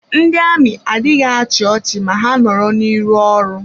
Ndị amị adịghị achị ọchị ma ha nọrọ n'iru ọrụ.